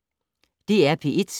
DR P1